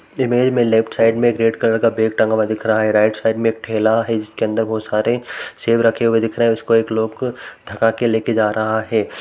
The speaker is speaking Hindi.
इमेज में लेफ्ट साइड में रेड कलर का बैग टंगा हुआ दिखाई पड़ रहा है। राइट साइड में एक ठेला हैं जिसके अंदर बहुत सारे सेब रखे हुए दिख रहे है। उसको एक लोग ठेका के लेके जा रहा है।